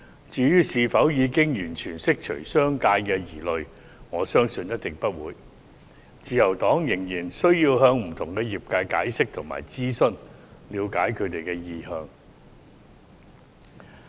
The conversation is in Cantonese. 至於是否已經完全釋除商界的疑慮，我相信一定不是，自由黨仍然需要向不同的業界解釋及諮詢，以了解他們的意向。